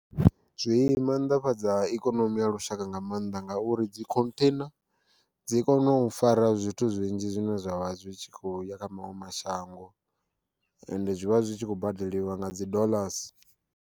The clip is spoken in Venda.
Zwi maanḓafhadza ikonomi ya lushaka nga maanḓa ngauri dzi khontheina dzi kona u fara zwithu zwinzhi zwine zwavha zwi kho ya kha maṅwe mashango ende zwivha zwikho badeliwa nga dzi doḽasi.